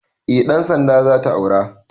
Eh ɗan sanda zata aura